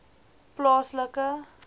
plaaslike